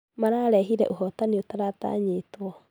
Mararehire ũhotani ũtaratanyetwo.